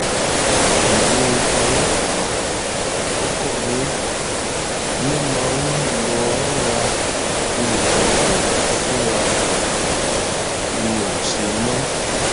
ìyàwó ọlọpàá ọkọ mi ló máa ń lọo ra nǹkan ọbẹ fúnra ẹ mi ò ṣe mọ